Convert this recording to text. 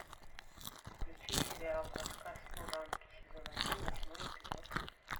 включи сериал рассказ служанки сезон один восьмой эпизод